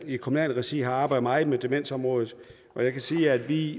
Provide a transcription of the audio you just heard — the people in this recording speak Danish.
i kommunalt regi arbejdet meget med demensområdet og jeg kan sige at vi